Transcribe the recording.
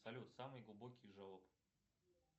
салют самый глубокий желоб